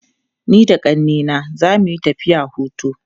Ni da ƙannena za mu tafiya hutu.